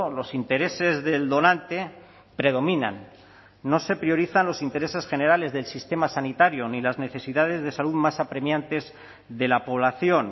los intereses del donante predominan no se priorizan los intereses generales del sistema sanitario ni las necesidades de salud más apremiantes de la población